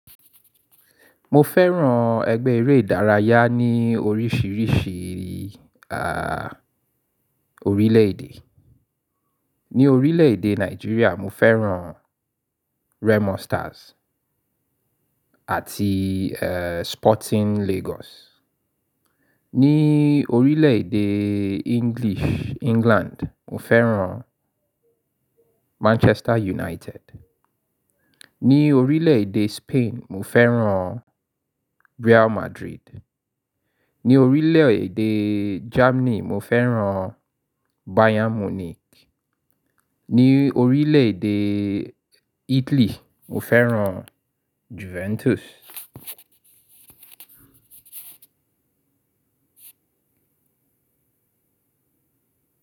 Mo fẹ́ràn ẹgbẹ́ eré ìdárayá ní oríṣiríṣi à, orílẹ̀-èdè. Ni orílẹ̀-èdè Nigeria mo fẹ́ràn Red Monsters àti, e, Sporting Lagos. Ni orílẹ̀-èdè English, England mo fẹ́ràn Manchester United. Ni orílẹ̀-èdè Spain mo fẹ́ràn Real Madrid. Ni orílẹ̀-èdè Germany mo fẹ́ràn Bayern Munich. Ni orílẹ̀-èdè Italy mo fẹ́ràn Juventus.